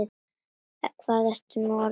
Hvað ertu nú að rugla!